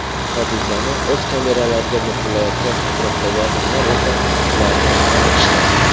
Hodisani o‘z kameralariga muhrlayotgan atrofdagi odamlar esa ularni olqishladi.